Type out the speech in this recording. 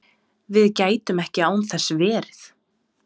Við gætum ekki án þess verið